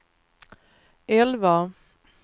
elva